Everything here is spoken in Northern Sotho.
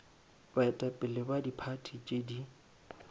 baetapele ba diphathi tše di